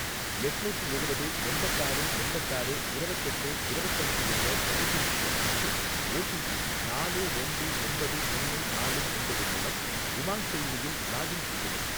எட்நூத்தி எழுவது எண்பத்தாறு எண்பத்தாறு இரவத்தெட்டு இரவத்தஞ்சு என்ற தொலைபேசி எண் மற்றும் ஓடிபி நாலு ரெண்டு ஒம்பது ஒன்னு நாலு ஒம்பது மூலம் உமாங் செயலியில் லாகின் செய்யவும்.